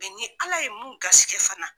ni ala ye mun garisɛgɛ fana.